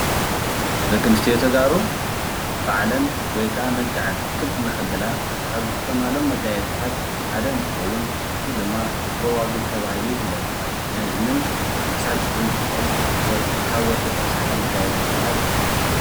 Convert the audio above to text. ደቂ ኣንስትዮ ተጋሩ ባዕለን ወይ ከዓ መልከዐን ክብ ንከብላ ካብ ዝጥቀማሉ መጋየፅታት ሓደ እንትኸውን እዙይ ድማ ጎባግብ ተባሂሉ ይፍለጥ። ናይ እዝንን ኣብ ክሳድ ዘንጥልጠል ወርቂ ካብ ወርቂ ዝተሰርሐ መጋየፂ ድማ እዩ።